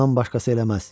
Ondan başqası eləməz!